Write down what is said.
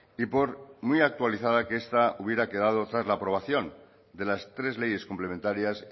y por muy actualizada que esta hubiera quedado tras la aprobación de las tres leyes complementarias